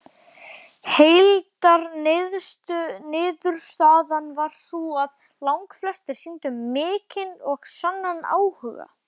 Heildarniðurstaðan var sú að langflestir sýndu mikinn og sannan áhuga.